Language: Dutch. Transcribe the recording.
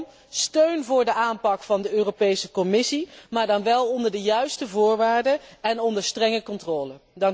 Kortom, steun voor de aanpak van de Europese Commissie, maar dan wel onder de juiste voorwaarden en onder strenge controle.